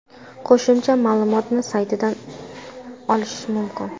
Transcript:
Qo‘shimcha ma’lumotni saytidan olish mumkin.